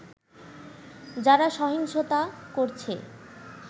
যারা সহিংসতা করছে